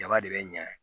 Jaba de bɛ ɲɛ